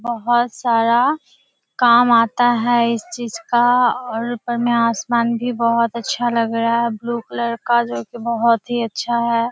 बहुत सारा काम आता है इस चीज का और ऊपर में आसमान भी बहुत अच्छा लग रहा है ब्लू कलर का जो कि बहुत ही अच्छा है।